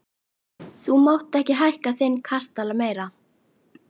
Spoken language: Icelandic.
Þú mátt ekki hækka þinn kastala meira!